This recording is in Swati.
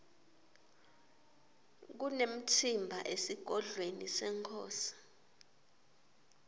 kunemtsimba esigodlweni senkhosi